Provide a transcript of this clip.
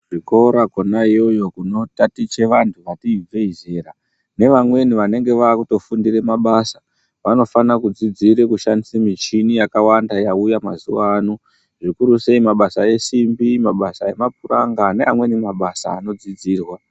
Kuzvikora kwona iyoyo kunotaticha vantu vati ibvei zera nevamweni vanenge vakutofundire mabasa vanofana kudzidzira kushandisa michini yakawanda yauya mazuaaano. Zvikurusei mabasa esimbi mabasa emapuranga neamweni mabasa anodzidzirwa.